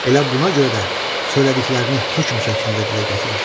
Elə buna görə də söylədiklərini hökm şəklində dilə gətirir.